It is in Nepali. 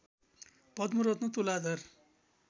पद्मरत्न तुलाधर